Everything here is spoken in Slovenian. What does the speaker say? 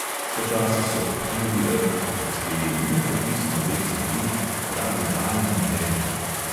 Počasi so obpluli rt in prispeli v nepopisno lep zaliv, pravi raj na zemlji.